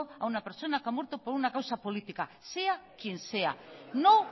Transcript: a una persona que ha muerto por una causa política sea quien sea no